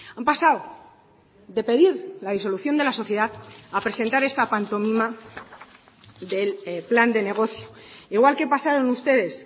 han pasado de pedir la disolución de la sociedad a presentar esta pantomima del plan de negocio igual que pasaron ustedes